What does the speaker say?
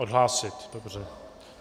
Odhlásit, dobře.